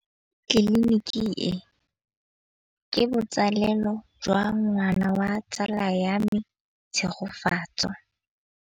Tleliniki e, ke botsalêlô jwa ngwana wa tsala ya me Tshegofatso.